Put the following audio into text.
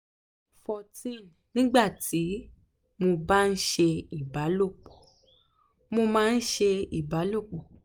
14 nígbà tí mo bá ń ṣe ìbálòpọ̀ mo máa ń ṣe ìbálòpọ̀